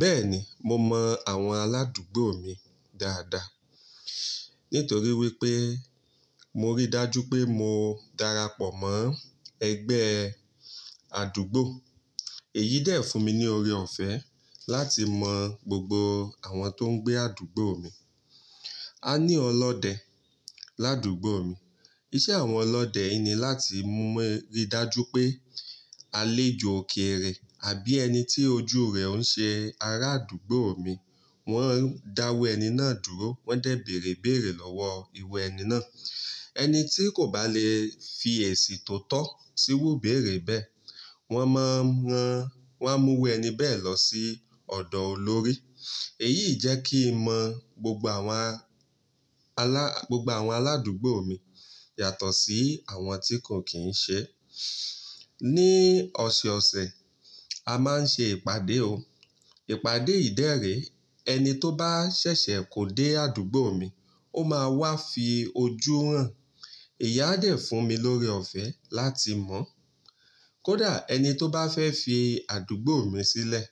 Bẹ́ẹ̀ni, mo mọ àwọn aládùúgbò mi dáadáa. Nítorí wípé mo rí dájú pé mo darapọ̀ mọ́ ẹgbẹ́ àdúgbò. Èyí dẹ̀ fún mi ní ore ọ̀fẹ́ láti mọ gbogbo àwọn tó ń gbé àdúgbò mi. A ní ọlọ́dẹ ládùúgbò mi. Iṣẹ́ àwọn ọlọ́dẹ yìí ni láti mú rí dájú pé àlejò òkèèrè àbí ẹni tí ojú rẹ̀ òun ṣe ará àdúgbò mi, wọ́n dáwọ ẹni náà dúró, wọ́n dẹ̀ bèèrè ibèèrè lọ́wọ́ ìwé ẹni náà. Ẹni tí kò bá lè fi èsì tó tọ́ síru ibèèrè bẹ́ẹ̀, wọ́n máa ń ran, wọ́n á mú irú ẹni bẹ́ẹ̀ lọ sí ọ̀dọ̀ olórí. Èyí jẹ́ kí n mọ gbogbo àwọn aládùúgbò mi yàtọ̀ sí àwọn tí kò kì í ṣe. Ní ọ̀sẹ̀ẹ̀ ọ̀sẹ̀, a máa ń se ìpàdé o. Ìpàdé yìí dẹrè ẹni tó bá ṣẹ̀ṣẹ̀ kó dé àdúgbò mi, ó máa wá fi ojú hàn. Ìyá dẹ̀ fún mi lórí ọ̀fẹ́ láti mọ̀. Kódà ẹni tó bá fẹ́ fi àdúgbò mi sílẹ̀,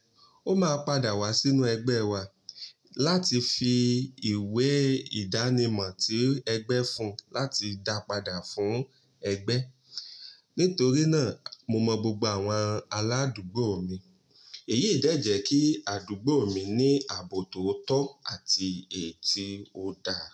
ó máa padà wá sínú ẹgbẹ́ wa láti fi ìwé ìdánimọ̀ tí ẹgbẹ́ fún un láti dá padà fún ẹgbẹ́. Nítorí náà, mo mọ gbogbo àwọn aládùúgbò mi. Èyí dẹ̀ jẹ́ kí àdúgbò mi ní ààbò tó tọ́ àti èyí tó dáa.